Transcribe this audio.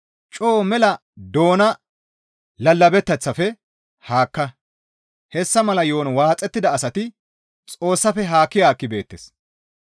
Coo mela doona lallabeteththafe haakka; hessa mala yo7on waaxettida asati Xoossafe haakki haakki beettes.